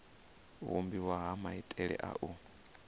vhumbiwa ha maitele a u